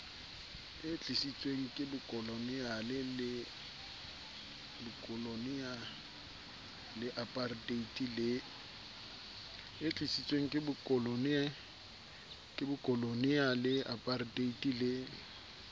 tlisitsweng ke bokoloniale aparteite le